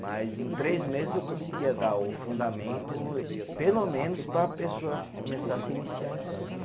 Mas em três meses eu conseguia dar o fundamento, pelo menos para a pessoa começar a se iniciar em campo né.